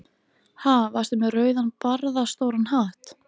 Ha, varstu með rauðan barðastóran hatt?